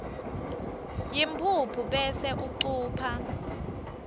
yimphuphu bese ucupha